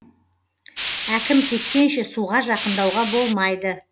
әкім кеткенше суға жақындауға болмайды